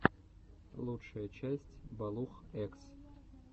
лучшая часть балух экс